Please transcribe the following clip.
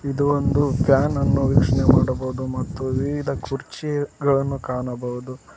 ಇದು ಒಂದು ಫ್ಯಾನ್ ಅನ್ನು ವೀಕ್ಷಣೆ ಮಾಡಬಹುದು ಮತ್ತು ವಿವಿಧ ಕುರ್ಚಿಗಳನ್ನು ಕಾಣಬಹುದು.